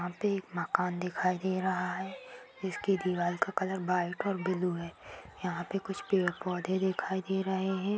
यहाँ पे एक मकान दिखाई दे रहा है। जिसकी दीवाल का कलर व्हाइट और ब्लू है। यहाँ पे कुछ पेड़ पौधे दिखाई दे रहे हैं।